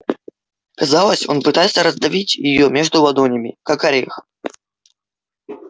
казалось он пытается раздавить её между ладонями как орех